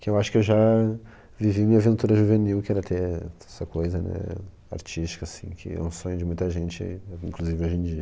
Que eu acho que eu já vivi minha aventura juvenil, que era ter essa coisa, né, artística, assim, que é um sonho de muita gente, inclusive hoje em dia.